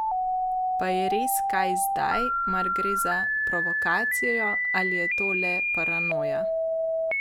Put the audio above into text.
Pa je res kaj zadaj, mar gre za provokacijo ali je to le paranoja?